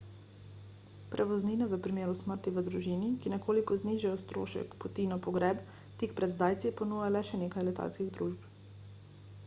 prevoznine v primeru smrti v družini ki nekoliko znižajo strošek poti na pogreb tik pred zdajci ponuja le še nekaj letalskih družb